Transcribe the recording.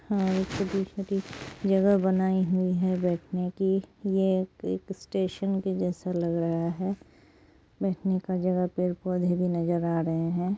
जगह बनाई हुई है बैठने के यह एक स्टेशन के जैसा लग रहा है बैठने का जगह पेड़ पौधे भी नजर आ रहे हैं ।